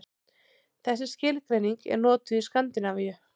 Þessi skilgreining er notuð í Skandinavíu.